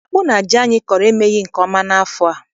Akpụ na ji anyị kọrọ emeghị nke ọma n'afọ a.